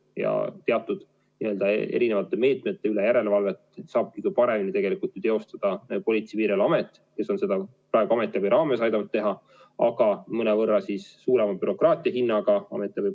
Ja teatud erimeetmete üle järelevalvet saab kõige paremini teostada Politsei- ja Piirivalveamet, kes on seda praegu ametiabi raames aidanud teha, aga mõnevõrra suurema bürokraatia hinnaga.